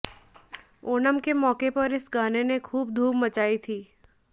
ओणम के मौके पर इस गाने ने खूब धूम मचाई थी